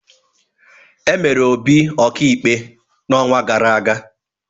E mere Obi ọka ikpe n'ọnwa gara aga.